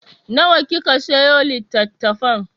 Nawa kika sayo litattafan?